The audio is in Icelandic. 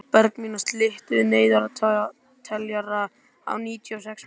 Bergmannía, stilltu niðurteljara á níutíu og sex mínútur.